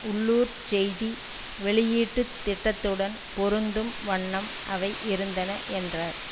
உள்ளுர்ச் செய்தி வெளியீட்டுத் திட்டத்துடன் பொருந்தும் வண்ணம் அவை இருந்தன என்றார்